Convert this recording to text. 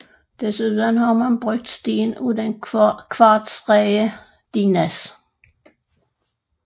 Desuden har man brugt sten af den kvartsrige dinas